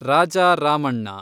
Raja Ramanna